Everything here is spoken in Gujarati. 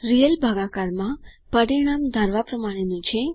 રિયલ ભાગાકાર માં પરિણામ ધારવા પ્રમાણેનું છે